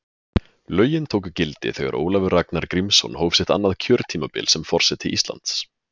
Lögin tóku gildi þegar Ólafur Ragnar Grímsson hóf sitt annað kjörtímabil sem forseti Íslands.